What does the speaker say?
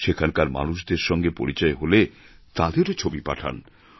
সেখানকার মানুষদের সঙ্গে পরিচয় হলে তাঁদেরও ছবি পাঠান